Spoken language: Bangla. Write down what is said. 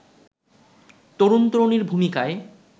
তরুণ-তরুণীর ভূমিকায়